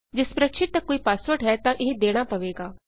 ਜੇ ਸਪ੍ਰੈਡਸ਼ੀਟ ਦਾ ਕੋਈ ਪਾਸਵਰਡ ਹੈ ਤਾਂ ਇਹ ਦੇਣਾ ਪਵੇਗਾ